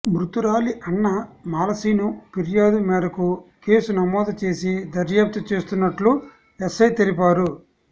మృతురాలి అన్న మాలశీను ఫిర్యాదు మేరకు కేసు నమోదు చేసి దర్యాప్తు చేస్తున్నట్లు ఎస్ఐ తెలిపారు